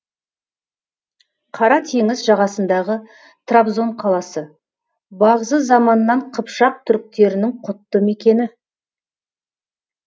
қара теңіз жағасындағы трабзон қаласы бағзы заманнан қыпшақ түріктерінің құтты мекені